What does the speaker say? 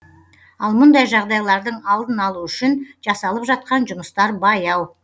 ал мұндай жағдайлардың алдын алу үшін жасалып жатқан жұмыстар баяу